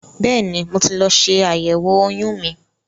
Bẹ́ẹ̀ni, mo ti lọ ṣe àyẹ̀wò oyún mi.